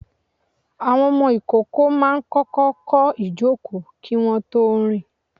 Àwọn ìkókó máa kọ́kọ́ kọ́ ìjòkó kí wọ́n tó rìn.